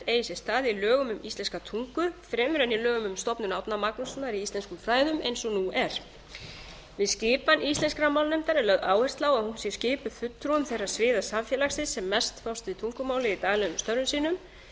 eigi sér stað í lögum um íslenska tungu fremur en í lögum um stofnun árna magnússonar í íslenskum fræðum eins og nú er við skipan íslenskrar málnefndar er lögð áhersla á að hún sé skipuð fulltrúum þeirra sviða samfélagsins sem mest fást við tungumálið í daglegum störfum sínum lagðar